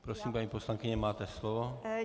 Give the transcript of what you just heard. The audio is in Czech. Prosím, paní poslankyně, máte slovo.